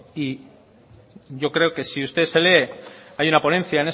y yo creo que si usted se lee hay una ponencia